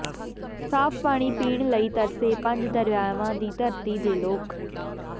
ਸਾਫ ਪਾਣੀ ਪੀਣ ਲਈ ਤਰਸੇ ਪੰਜ ਦਰਿਆਵਾਂ ਦੀ ਧਰਤੀ ਦੇ ਲੋਕ